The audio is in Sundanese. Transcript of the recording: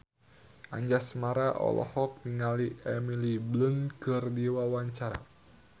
Anjasmara olohok ningali Emily Blunt keur diwawancara